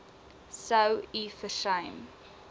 sou u versuim